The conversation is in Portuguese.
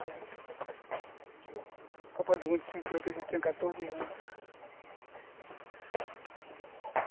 Copa do Mundo de cinquenta, eu já tinha quatorze anos.